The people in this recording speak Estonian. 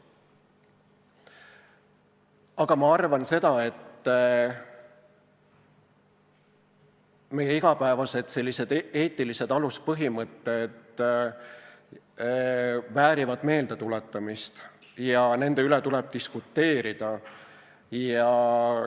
Aga ma arvan, et meie igapäevased eetilised aluspõhimõtted väärivad meeldetuletamist ja nende üle tuleb diskuteerida.